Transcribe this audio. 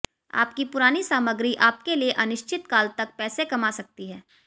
आपकी पुरानी सामग्री आपके लिए अनिश्चित काल तक पैसे कमा सकती है